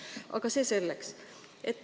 Aga see selleks.